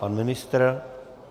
Pan ministr?